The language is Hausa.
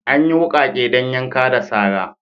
Anyi wukake dan yanka da sara.